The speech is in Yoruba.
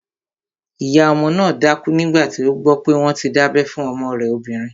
Ìyá ọmọ náà dákú nígbàtí ó gbọ́ pé wọ́n ti dábẹ́ fún ọmọ rẹ̀ obìnrin